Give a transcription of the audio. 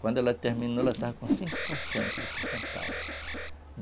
Quando ela terminou, ela estava com cinco por cento de porcentagem.